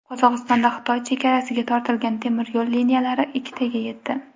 Qozog‘istonda Xitoy chegarasiga tortilgan temiryo‘l liniyalari ikkitaga yetdi.